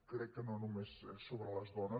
crec que no només és sobre les dones